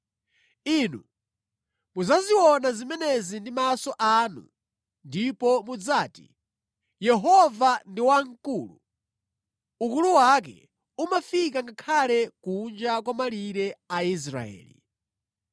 Inu mudzaziona zimenezi ndi maso anu ndipo mudzati, ‘Yehova ndi Wamkulu, ukulu wake umafika ngakhale kunja kwa malire a Israeli!’